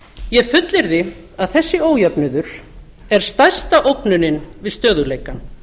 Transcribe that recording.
ég fullyrði að þessi ójöfnuður er stærsta ógnanir við stöðugleikann